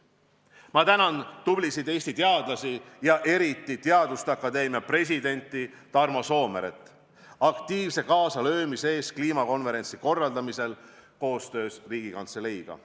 Ma tänan tublisid Eesti teadlasi ja eriti Teaduste Akadeemia presidenti Tarmo Soomeret aktiivse kaasalöömise eest kliimakonverentsi korraldamisel koostöös Riigikantseleiga.